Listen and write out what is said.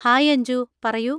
Hi Anju! പറയൂ.